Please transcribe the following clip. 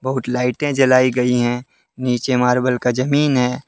लाइटे जलाई गई है नीचे मार्बल का जमीन है।